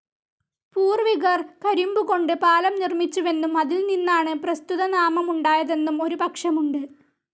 പൂർവ്വികർ കരിമ്പുകൊണ്ട് പാലം നിർമ്മിച്ചുവെന്നും അതിൽനിന്നാണ് പ്രസ്തുതനാമമുണ്ടായതെന്നും ഒരു പക്ഷമുണ്ട്.